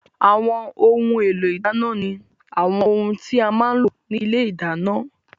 Àwọn ohun èlò ìdáná ni àwọn ohun tí a má ń lò ní ilé ìdáná